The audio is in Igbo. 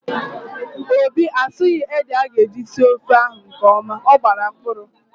Obi asughi ede aga eji sie ofe ahụ nkeọma, ọ gbara mkpụrụ